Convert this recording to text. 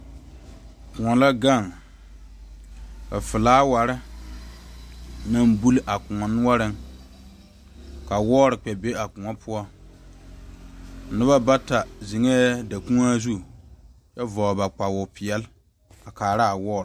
Kõɔ la gaŋ ka flaawarre naŋ buli a kõɔ noɔreŋ ka wɔɔre kpɛ be a kòɔ poɔ nobɔ bata zeŋɛɛ dakuoaa zu kyɛ vɔgle ba kpawopeɛɛle a kaaraa wɔɔre.